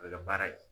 A bɛ kɛ baara ye